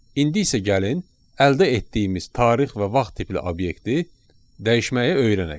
İndi isə gəlin əldə etdiyimiz tarix və vaxt tipli obyekti dəyişməyi öyrənək.